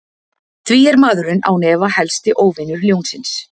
Því er maðurinn án efa helsti óvinur ljónsins.